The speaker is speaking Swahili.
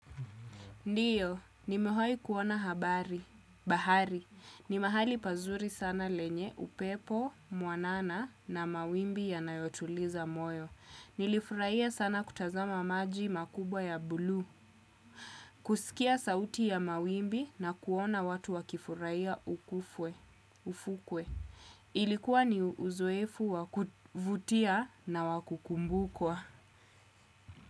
Ndiyo, nimewahi kuona habari, bahari. Ni mahali pazuri sana lenye, upepo mwanana na mawimbi yanayotuliza moyo. Nilifurahia sana kutazama maji makubwa ya buluu. Kusikia sauti ya mawimbi na kuona watu wakifurahia ufukwe. Ilikuwa ni uzoefu wa kuvutia na wa kukumbukwa.